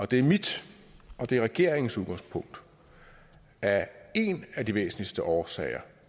det er mit og det er regeringens udgangspunkt at en af de væsentligste årsager